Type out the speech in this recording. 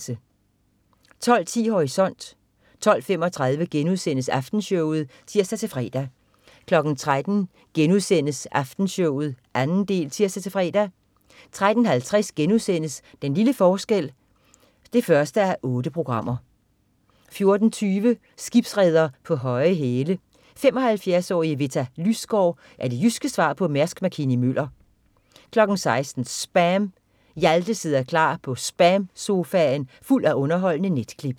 12.10 Horisont 12.35 Aftenshowet* (tirs-fre) 13.00 Aftenshowet 2. del* (tirs-fre) 13.50 Den lille forskel 1:8* 14.20 Skibsreder på høje hæle. 75-årige Vitta Lysgaard er det jyske svar på Mærsk Mc-Kinney Møller 16.00 SPAM. Hjalte sidder klar med SPAM-sofaen fuld af underholdende net-klip